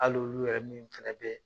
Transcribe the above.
Hali olu yɛrɛ min fana bɛ.